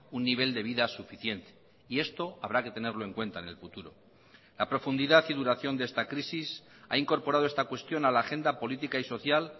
un nivel de vida suficiente y esto habrá que tenerlo en cuenta en el futuro la profundidad y duración de esta crisis ha incorporado esta cuestión a la agenda política y social